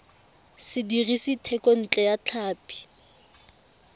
se dirisitswe thekontle ya tlhapi